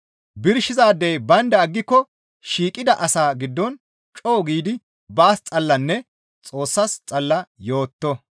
Birshizaadey baynda aggiko shiiqida asaa giddon co7u giidi baas xallanne Xoossas xalla yooto.